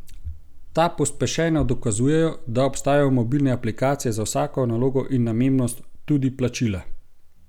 Ta pospešeno dokazujejo, da obstajajo mobilne aplikacije za vsako nalogo in namembnost, tudi plačila?